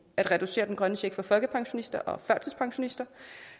at reducere den grønne check for folkepensionister og førtidspensionister